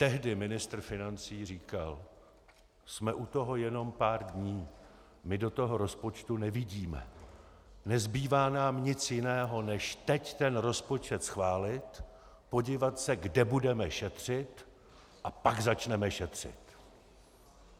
Tehdy ministr financí říkal: Jsme u toho jenom pár dní, my do toho rozpočtu nevidíme, nezbývá nám nic jiného, než teď ten rozpočet schválit, podívat se, kde budeme šetřit, a pak začneme šetřit.